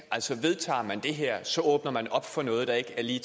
vedtager man det her åbner man op for noget der ikke lige